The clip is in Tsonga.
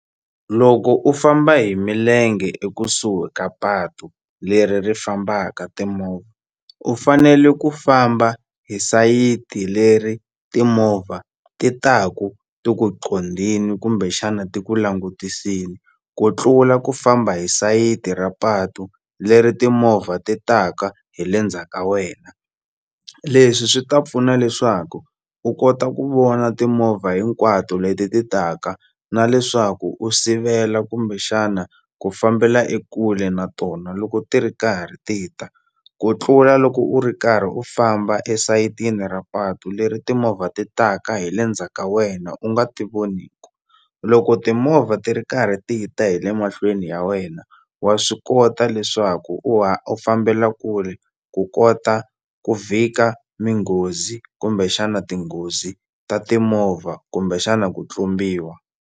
Loko u famba hi milenge ekusuhi ka patu leri ri fambaka timovha u fanele ku famba hi sayiti leri timovha ti taku ti ku qondini kumbexana ti ku langutisini ku tlula ku famba hi sayiti ra patu leri timovha ti taka hi le ndzhaka wena leswi swi ta pfuna leswaku u kota ku vona timovha hinkwato leti ti taka na leswaku u sivela kumbexana ku fambela ekule na tona loko ti ri karhi ti ta ku tlula loko u ri karhi u famba esayitini ra patu leri timovha ti taka hi le ndzhaka wena u nga ti voniku loko timovha ti ri karhi ti ta hi le mahlweni ya wena wa swi kota leswaku u u fambela kule ku kota ku vhika minghozi kumbexana tinghozi ta timovha kumbexana ku tlumbiwa.